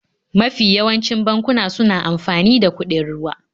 Mafi yawancin bankuna suna amfani da kuɗin ruwa.